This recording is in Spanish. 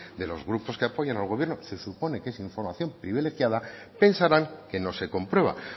de los grupos que apoyan al gobierno se supone que es información privilegiada pensarán que no se comprueba